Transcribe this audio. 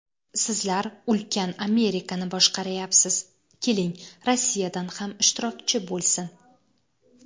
Sizlar ulkan Amerikani boshqaryapsiz, keling, Rossiyadan ham ishtirokchi bo‘lsin.